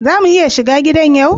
Za mu iya shiga gidan yau?